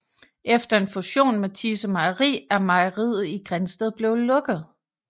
Efter en fusion med Thise Mejeri er mejeriet i Grindsted blevet lukket